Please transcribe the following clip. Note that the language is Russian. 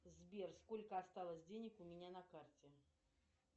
сбер сколько осталось денег у меня на карте